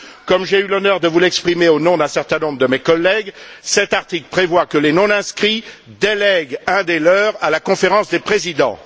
Comme j'ai eu l'honneur de vous l'exprimer au nom d'un certain nombre de mes collègues, cet article prévoit que les non inscrits délèguent un des leurs à la Conférence des présidents.